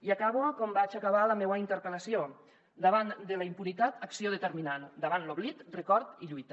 i acabo com vaig acabar la meua interpel·lació davant de la impunitat acció determinant davant l’oblit record i lluita